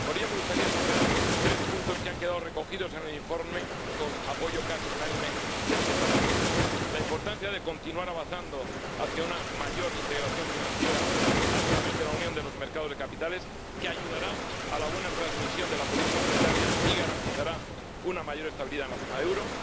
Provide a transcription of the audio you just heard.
Por ello, me gustaría destacar dos puntos que han quedado recogidos en el informe con el apoyo casi unánime de este Parlamento la importancia de continuar avanzando hacia una mayor integración financiera a través de la unión de los mercados de capitales, que ayudará a la buena transmisión de la política monetaria y garantizará una mayor estabilidad en la zona euro